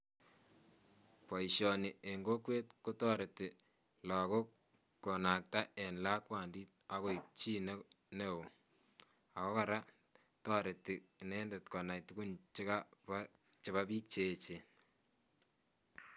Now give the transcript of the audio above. baishoni eng kokwet kotarit lagook konakta eng lakwandi agoi chii neo , ago koraa tariti indendet konai tugun chebaa biik cheechen